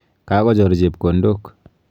Kakochor chepkondok.